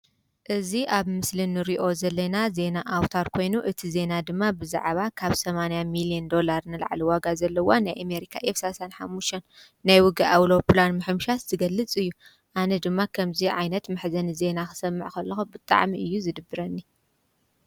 ።እዝ ኣብ ምስልን ርዮ ዘለና ዜና ኣውታር ኮይኑ እቲ ዜና ድማ ብዛዕባ ካብ ሰማንያ ሚል ዮን ዶላርን ኣለዕሊ ዋጋ ዘለዋን ናይ እሜሪካ ኤፍሳሳን ኃሙሽን ናይ ውጋ ኣውሎጵላን ምሕምሻት ትገልጽ እዩ ኣነ ድማ ኸምዙይ ዓይነት ምሕዘኒ ዜና ኽሰምዕኸለኹ ብጥዕሚ እዩ ዝድብረኒ።